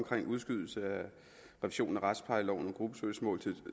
udskydelsen af revisionen af retsplejeloven to tusind og